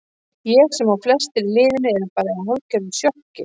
Ég sem og flestar í liðinu erum bara í hálfgerðu sjokki.